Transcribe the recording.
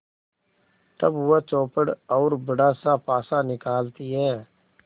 तब वह चौपड़ और बड़ासा पासा निकालती है